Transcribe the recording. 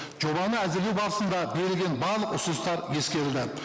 жобаны әзірлеу барысында берілген барлық ұсыныстар ескерілді